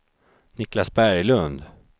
Niclas Berglund